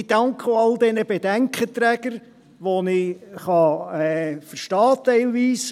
Ich danke auch all den Bedenkenträgern, die ich teilweise verstehen kann.